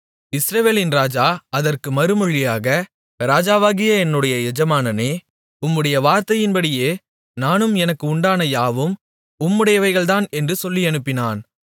இஸ்ரவேலின் ராஜா அதற்கு மறுமொழியாக ராஜாவாகிய என்னுடைய எஜமானனே உம்முடைய வார்த்தையின்படியே நானும் எனக்கு உண்டான யாவும் உம்முடையவைகள்தான் என்று சொல்லியனுப்பினான்